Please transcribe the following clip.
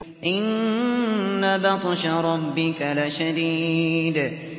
إِنَّ بَطْشَ رَبِّكَ لَشَدِيدٌ